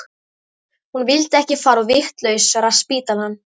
Hún vildi ekki fara á vitlausraspítalann.